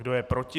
Kdo je proti?